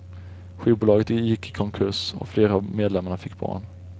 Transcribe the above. Skivbolaget gick i konkurs och flera av medlemmarna fick barn.